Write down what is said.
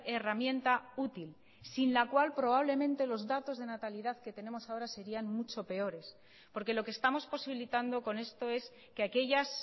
herramienta útil sin la cual probablemente los datos de natalidad que tenemos ahora serían mucho peores porque lo que estamos posibilitando con esto es que aquellas